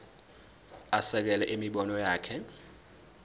asekele imibono yakhe